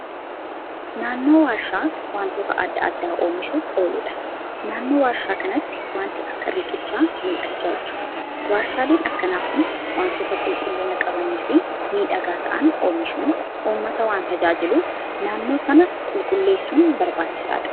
Naannoo warshaa wantoota adda addaa oomishuuf ooluudha. Naannoo warshaa kanatti waanti akka riqichaa mul'achaa jira. Warshaaleen akkanaa kun wantoota qulqullina qabanii fi miidhagaa ta'aan oomishuun uummata waan tajaajiluuf naannoo sana qulqulleessun barbaachisaadha.